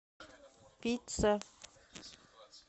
пицца